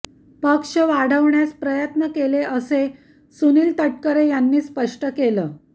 पक्ष वाढवण्यास प्रयत्न केले असं सुनील तटकरे यांनी स्पष्ट केलं